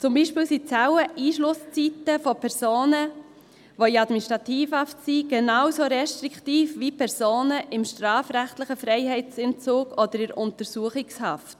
Zum Beispiel sind die Zelleneinschlusszeiten von Personen in Administrativhaft genauso restriktiv wie von Personen im strafrechtlichen Freiheitsentzug oder in der Untersuchungshaft.